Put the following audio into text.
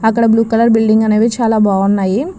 అక్కడ blue colour building అనేవి చాలా బాగున్నాయి.